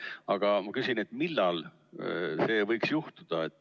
Aga ma küsin, millal see võiks juhtuda.